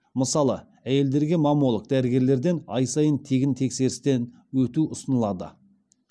мысалы әйелдерге маммолог дәрігерден ай сайын тегін тексерістен өту ұсынылады